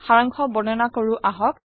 সাৰাংশ বৰ্ণনা কৰো আহক